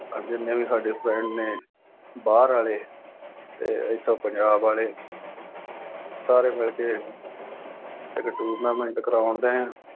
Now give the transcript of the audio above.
ਜਿੰਨੇ ਵੀ ਸਾਡੇ friend ਨੇ ਬਾਹਰ ਆਲੇ ਤੇ ਇੱਥੋਂ ਪੰਜਾਬ ਆਲੇ। ਸਾਰੇ ਮਿਲ ਕੇ ਇਥੇ tournament ਕਰਾਉਣ ਡਏ ਆਂ।